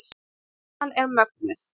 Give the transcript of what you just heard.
Spennan er mögnuð.